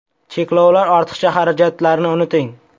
Cheklovlar, ortiqcha xarajatlarni unuting!